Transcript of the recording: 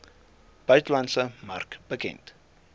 buitelandse mark bekend